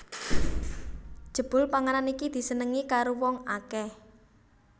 Jebul panganan iki disenengi karo wong akèh